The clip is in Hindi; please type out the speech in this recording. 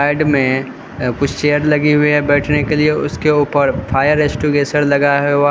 में कुछ चेयर लगे हुए है बैठने के लिए उसके ऊपर फायर एग्जीक्यूशन लगा हुआ है।